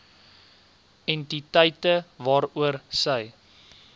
entiteite waaroor sy